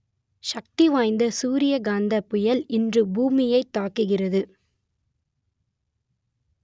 சக்தி வாய்ந்த சூரிய காந்தப் புயல் இன்று பூமியைத் தாக்குகிறது